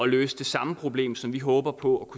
løse det samme problem som vi håber på